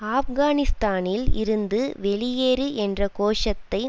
ஆப்கானிஸ்தானில் இருந்து வெளியேறு என்ற கோஷத்தை